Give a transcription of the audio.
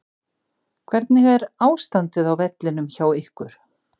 Hvernig er ástandið á vellinum hjá ykkur?